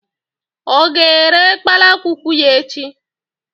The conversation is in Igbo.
ọ ga-ere kpalakwukwu ya echi?